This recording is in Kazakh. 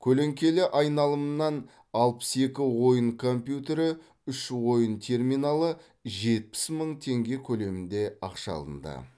көлеңкелі айналымнан алпыс екі ойын компьютері үш ойын терминалы жетпіс мың теңге көлемінде ақша алынды